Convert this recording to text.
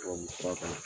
Tubabu fura kan